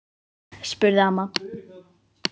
spurði amma.